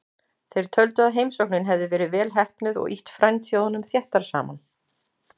Þeir töldu að heimsóknin hefði verið vel heppnuð og ýtt frændþjóðunum þéttar saman.